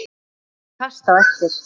Hún fylgdi þeim fast eftir.